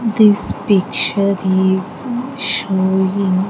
This picture is showing --